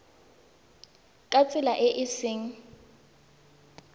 ka tsela e e seng